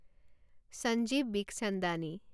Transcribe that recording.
Sanjeev Bikhchandani